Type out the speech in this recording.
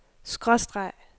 skråstreg